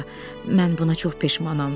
Xala, mən buna çox peşmanam.